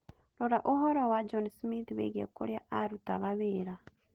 Rora ũhoro wa John Smith wĩgiĩ kũrĩa aarutaga wĩra